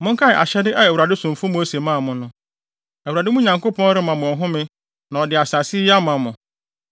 “Monkae ahyɛde a Awurade somfo Mose maa mo no: ‘ Awurade, mo Nyankopɔn, rema mo ɔhome na ɔde asase yi ama mo.’